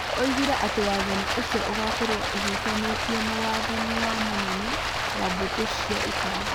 Oigire atĩ wathani ũcio ũgaakorũo ũhutanĩtie na wathani wa mũnene wa mbũtũ cia ita.